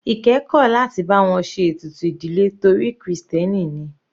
Ike kò láti bá wọn ṣe ètùtù ìdílé torí krìstẹ́nì ni.